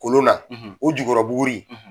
Kolon na o jukɔrɔbuguri